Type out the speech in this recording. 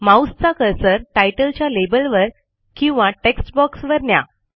माऊसचा कर्सर टायटलच्या लेबलवर किंवा टेक्स्ट बॉक्सवर न्या